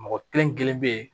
Mɔgɔ kelen kelen bɛ yen